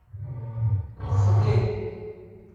хд